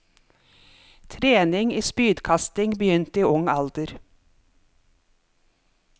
Trening i spydkasting begynte i ung alder.